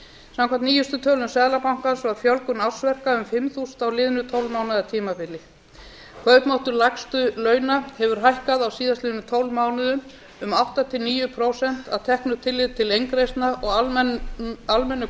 samkvæmt nýjustu tölum seðlabankans var fjölgun ársverka um fimm þúsund á liðnu tólf mánaða tímabili kaupmáttur lægstu launa hefur hækkað á síðastliðnum tólf mánuðum um átta til níu prósent að teknu tilliti til inngrieðslna og almennur